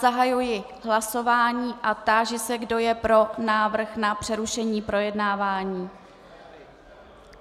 Zahajuji hlasování a táži se, kdo je pro návrh na přerušení projednávání.